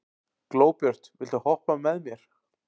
Glóbjört, viltu hoppa með mér?